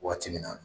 Waati min na